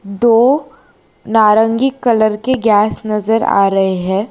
दो नारंगी कलर के गैस नजर आ रहे हैं।